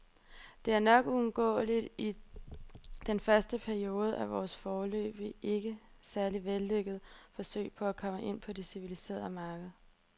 Det er nok uundgåeligt i den første periode af vores, foreløbig ikke særlig vellykkede, forsøg på at komme ind på det civiliserede marked.